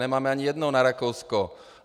Nemáme ani jednu na Rakousko!